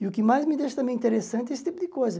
E o que mais me deixa também interessante é esse tipo de coisa.